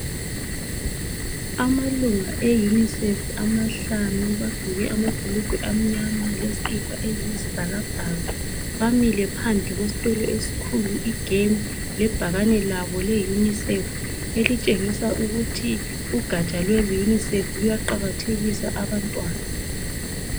Amalunga e UNICEF amahlanu bagqoke amabhulugwa amnyama lezikipa eziyisibhakabhaka bamile phandle kwesitulo esikhulu igemu lebhakani labo le unicef elitshengisa ukuthi ugatsha lwe UNICEF luyaqakathekisa abantwana